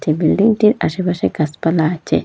বিল্ডিংটির আশেপাশে গাসপালা আচে ।